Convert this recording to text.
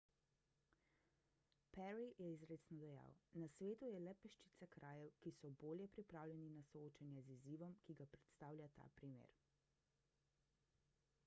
perry je izrecno dejal na svetu je le peščica krajev ki so bolje pripravljeni na soočanje z izzivom ki ga predstavlja ta primer